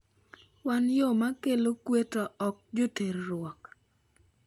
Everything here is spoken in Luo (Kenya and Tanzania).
"""Wan yo mar kelo kwe to ok joterruok."